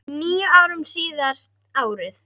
Níu árum síðar, árið